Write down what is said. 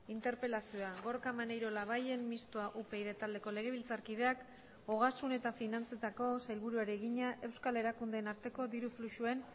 interpelazioa gorka maneiro labayen mistoa upyd taldeko legebiltzarkideak ogasun eta finantzetako sailburuari egina euskal erakundeen arteko diru fluxuen